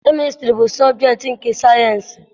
Kemịstrị bụ sọbjektị nke sayịensị.